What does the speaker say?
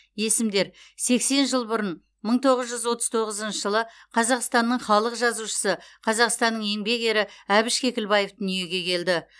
есімдер сексен жыл бұрын мың тоғыз жүз отыз тоғызыншы жылы қазақстанның халық жазушысы қазақстанның еңбек ері әбіш кекілбаев дүниеге келді